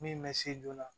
Min bɛ se joona